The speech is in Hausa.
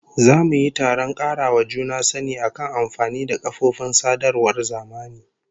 Za mu yi taron karawa juna sani akan amfani da kafofin sadarwar zamani